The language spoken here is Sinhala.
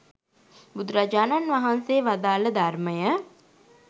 බුදුරජාණන් වහන්සේ වදාළ ධර්මය